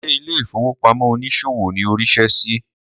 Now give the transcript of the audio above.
Ṣé ilé ìfowópamọ́ onísòwò ni o rí iṣẹ́ sí?